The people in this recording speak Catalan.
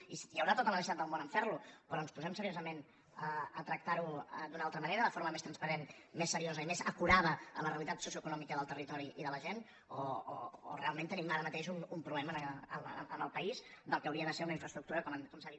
i hi haurà tota la necessitat del món a ferlo però ens posem seriosament a tractar ho d’una altra manera de forma més transparent més seriosa i més acurada a la realitat socioeconòmica del territori i de la gent o realment tenim ara mateix un problema en el país del que hauria de ser una infraestructura com s’ha dit